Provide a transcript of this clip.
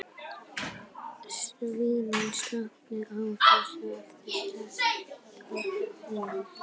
Svandís, slökktu á þessu eftir sextán mínútur.